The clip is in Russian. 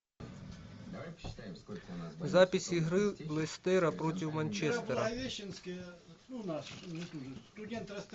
запись игры лестера против манчестера